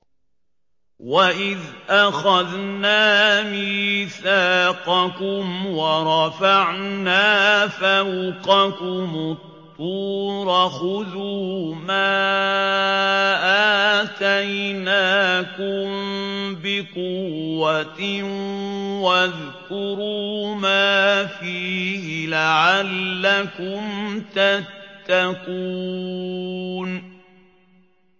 وَإِذْ أَخَذْنَا مِيثَاقَكُمْ وَرَفَعْنَا فَوْقَكُمُ الطُّورَ خُذُوا مَا آتَيْنَاكُم بِقُوَّةٍ وَاذْكُرُوا مَا فِيهِ لَعَلَّكُمْ تَتَّقُونَ